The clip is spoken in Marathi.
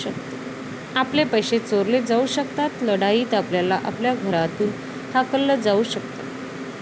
आपले पैसे चोरले जाऊ शकतात. लढाईत आपल्याला आपल्या घरातून हाकललं जाऊ शकतं.